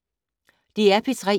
DR P3